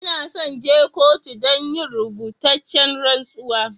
N'na son je kotu dan yin rubutacen rantsuwa.